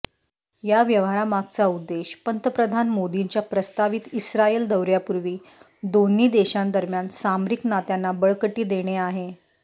या व्यवहारामागचा उद्देश पंतप्रधान मोदींच्या प्रस्तावित इस्रायल दौऱयापूर्वी दोन्ही देशांदरम्यान सामरिक नात्यांना बळकटी देणे आहे